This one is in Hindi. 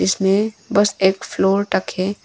इसमें बस एक फ्लोर तक है।